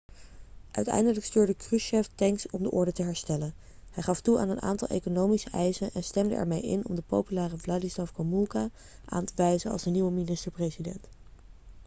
uiteindelijk stuurde krushchev tanks om de orde te herstellen hij gaf toe aan een aantal economische eisen en stemde ermee in om de populaire wladyslaw gomulka aan te wijzen als de nieuwe minister-president